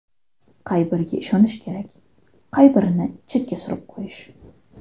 Qay biriga ishonish kerak, qay birini chetga surib qo‘yish?